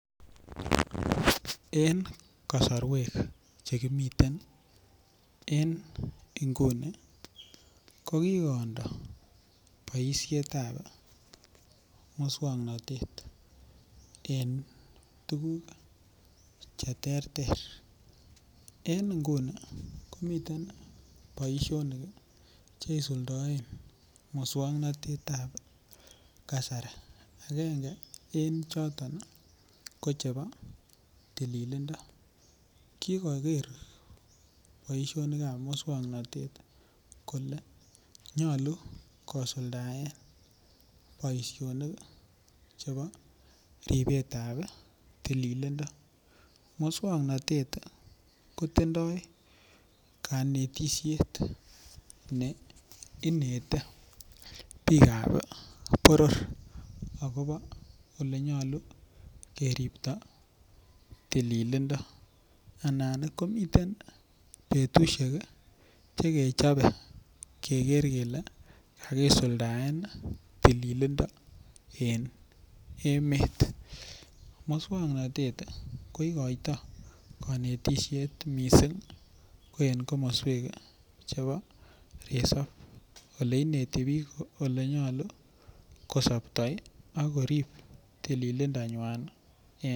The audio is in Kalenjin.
En kasarwek Che kimiten en nguni ko ki kondo boisiet ab moswoknatet en tuguk Che terter en nguni ko miten boisionik Che isuldoen moswoknatet ab kasari agenge en choto ko chebo tililindo kikoker boisionik ab moswoknatet kole nyolu kosuldaen boisinikyik chebo ribet ab tililindo moswoknatet ko tindoi kanetisiet ab bikap boror akobo Ole nyolu koripto tililindo komiten betusiek Che kechobe keker kele kakisuldaen tililindo en emet moswoknatet ko igoitoi konetisiet mising ko en komoswek chebo resop Ole ineti bik Ole nyolu ko sopto ako korib tililindo